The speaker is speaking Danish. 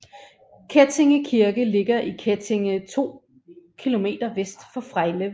Kettinge Kirke ligger i Kettinge 2 km vest for Frejlev